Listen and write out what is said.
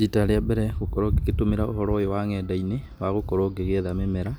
Rita rĩa mbere gũkorwo ngĩgĩtũmĩra ũhoro ũyũ wa nenda-inĩ wa gũkorwo ngĩgĩetha mĩmera,